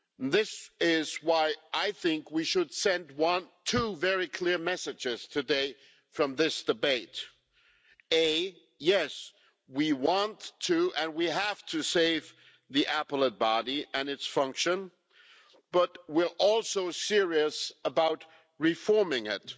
This is why I think we should send two very clear messages today from this debate yes, we want to and we have to save the Appellate Body and its function, but we are also serious about reforming it.